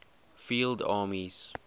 field armies